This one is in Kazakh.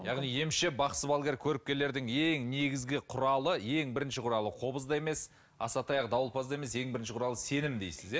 яғни емші бақсы балгер көріпкелдердің ең негізгі құралы ең бірінші құралы қобыз да емес асатаяқ дауылпаз да емес ең бірінші құралы сенім дейсіз иә